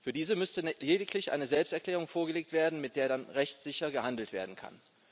Für diese müsste lediglich eine Selbsterklärung vorgelegt werden, mit der dann rechtssicher gehandelt werden kann.